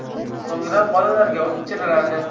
So‘ngra bolalarga ichiriladi.